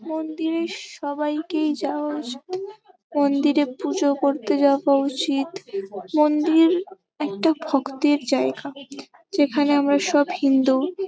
মন্দিরে সবাইকেই যাওয়া উচিত। মন্দিরে পুজো করতে যাবা উচিত। মন্দির একটা ভক্তির জায়গা যেখানে আমরা সব হিন্দু ।